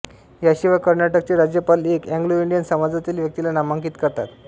याशिवाय कर्नाटकचे राज्यपाल एक एंग्लोइंडियन समाजातील व्यक्तीला नामांकित करतात